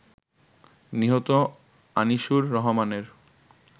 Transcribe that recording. নিহত আনিসুর রহমানের